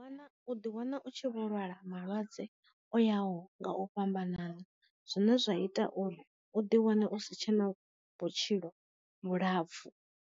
Kana u ḓi wana u tshi vho lwala malwadze o yaho nga u fhambanana zwine zwa ita uri u ḓi wana u si tshena vhutshilo vhulapfu.